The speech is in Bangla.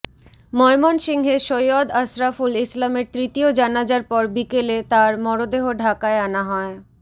ময়মনসিংহে সৈয়দ আশরাফুল ইসলামের তৃতীয় জানাজার পর বিকেলে তার মরদেহ ঢাকায় আনা হয়